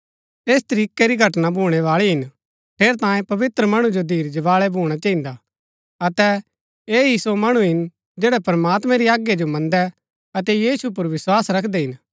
ऐस तरीकै री घटना भूणैबाळी हिन ठेरैतांये पवित्र मणु जो धीरज बाळै भूणा चहिन्दा अतै ऐह ही सो मणु हिन जैड़ै प्रमात्मैं री आज्ञा जो मन्दै अतै यीशु पुर विस्वास रखदै हिन